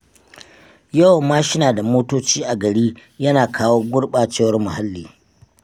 Yawan mashina da motoci a gari yana kawo gurɓacewar muhalli.